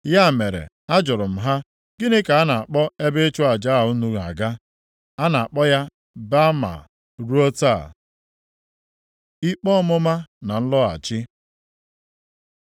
Ya mere a jụrụ m ha, Gịnị ka a na-akpọ ebe ịchụ aja a unu na-aga?’ ” (A na-akpọ ya Baama ruo taa.) Ikpe ọmụma na nlọghachi